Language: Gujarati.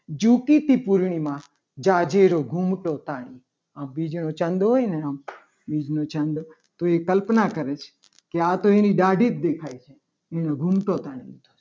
જોકે તે પૂર્ણિમા જાજેરો ઘૂમતો તાણી આ બીજો ચાંદ હોય ને આમ બીજ નો ચાંદ તો એ કલ્પના કરે છે. આ તો એની દાઢી જ દેખાય છે. એનો ઘૂમતો તાલ છે.